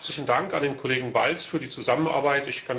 Zunächst herzlichen Dank an den Kollegen Balz für die Zusammenarbeit.